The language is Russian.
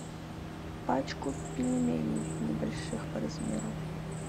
пачку пельменей небольших по размеру